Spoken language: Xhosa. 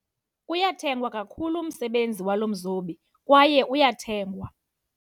Uyathengwa kakhulu umsebenzi walo mzobi kwaye uyathengwa.